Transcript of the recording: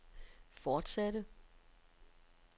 fortsatte